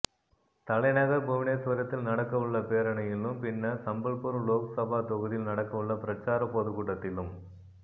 தலைநகர் புவனேஸ்வரத்தில் நடக்க உள்ள பேரணியிலும் பின்னர் சம்பல்பூர் லோக்சபா தொகுதியில் நடக்க உளள பிரசார பொதுக்கூட்டத்திலும்